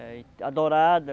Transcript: É adorado.